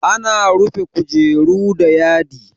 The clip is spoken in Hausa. Ana rufe kujera da yadi.